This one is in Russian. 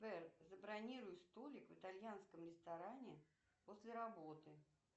забронируй столик в итальянском ресторане после работы